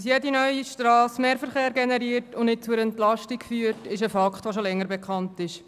Dass jede neue Strasse mehr Verkehr generiert und nicht zu einer Entlastung führt, ist ein Fakt, der schon länger bekannt ist.